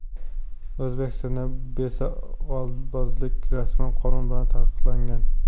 O‘zbekistonda besoqolbozlik rasman qonun bilan taqiqlangan.